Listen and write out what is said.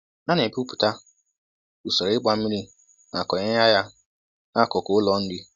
A na-ebipụta usoro ịgba mmiri ma konyeya ya n'akụkụ ụlọ nri.